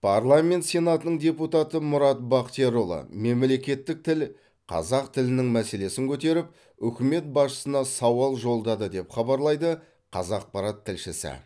парламент сенатының депутаты мұрат бақтиярұлы мемлекеттік тіл қазақ тілінің мәселесін көтеріп үкімет басшысына сауал жолдады деп хабарлайды қазақпарат тілшісі